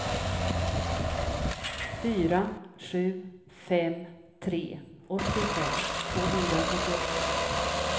fyra sju fem tre åttiofem tvåhundrafyrtioåtta